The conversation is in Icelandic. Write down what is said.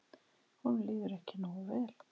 Honum líður ekki nógu vel.